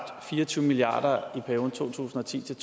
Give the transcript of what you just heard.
fire og tyve milliard i perioden to tusind og ti til